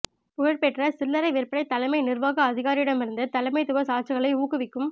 புகழ்பெற்ற சில்லறை விற்பனை தலைமை நிர்வாக அதிகாரியிடமிருந்து தலைமைத்துவ சாட்சிகளை ஊக்குவிக்கும்